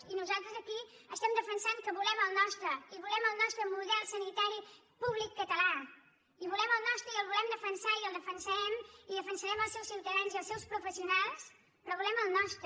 i nosaltres aquí estem defensant que volem el nostre i volem el nostre model sanitari públic català i volem el nostre i el volem defensar i el defensarem i defensarem els seus ciutadans i els seus professionals però volem el nostre